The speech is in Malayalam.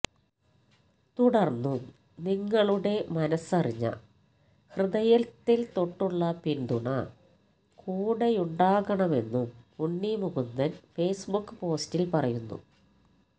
തുടർന്നും നിങ്ങളുടെ മനസ്സറിഞ്ഞ ഹൃദയത്തിൽ തൊട്ടുള്ള പിന്തുണ കൂടെയുണ്ടാകണമെന്നും ഉണ്ണി മുകുന്ദൻ ഫേസ്ബുക് പോസ്റ്റിൽ പറയുന്നു